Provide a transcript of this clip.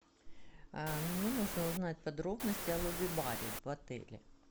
мне нужно узнать подробности о лобби баре в отеле